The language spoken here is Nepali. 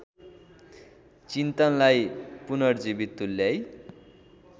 चिन्तनलाई पुनर्जीवित तुल्याई